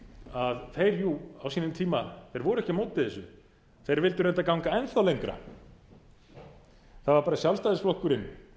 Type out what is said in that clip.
að þeir jú á sínum tíma voru ekki á móti þessu þeir vildu reyndar ganga enn þá lengra það var bara sjálfstæðisflokkurinn